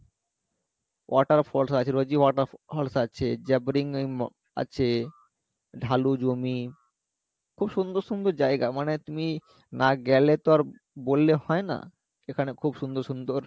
waterfalls আছে রোজী water falls আছে আছে ঢালু জমি খুব সুন্দর সুন্দর জায়গা মানে তুমি না গেলে তো আর বললে হয় না এখানে খুব সুন্দর সুন্দর